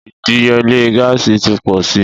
Ìdíyelé gáàsì ti pọ̀ sí i.